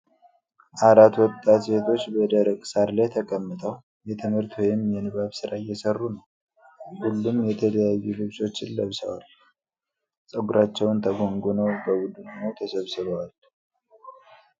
አራት ወጣት ሴቶች በደረቀ ሳር ላይ ተቀምጠው የትምህርት ወይም የንባብ ሥራ እየሰሩ ነው። ሁሉም የተለያዩ ልብሶችን ለብሰው፣ ፀጉራቸውን ተጎንጉነው፣ በቡድን ሆነው ተሰብስበዋል።